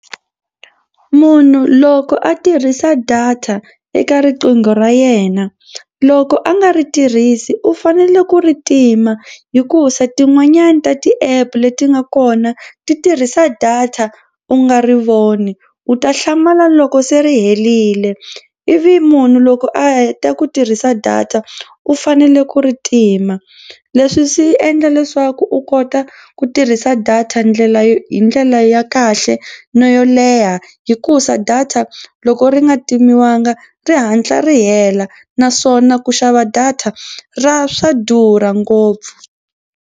Munhu loko a tirhisa data eka riqingho ra yena loko a nga ri tirhisi u fanele ku ri tima hikusa tin'wanyani ta ti-app leti nga kona ti tirhisa data u nga ri voni u ta hlamala loko se ri herile ivi munhu loko a heta ku tirhisa data u fanele ku ri tima. Leswi swi endla leswaku u kota ku tirhisa data ndlela yo hi ndlela ya kahle na yo leha hikusa data loko ri nga timiwanga ri hatla ri hela naswona ku xava data ra swa durha ngopfu.